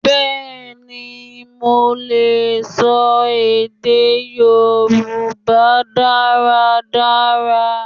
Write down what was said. Bẹẹni, mo lè sọ èdè Yorùbá dáradára.